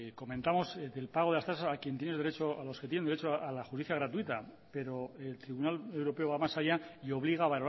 comentamos del pago de las tasas a los que tienen derecho a la justicia gratuita pero el tribunal europeo va más allá y obliga a